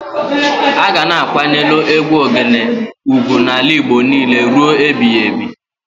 A ga na-akwanyelu egwu Ogene ugwu n'ala Igbo n'ile rue ebiyebi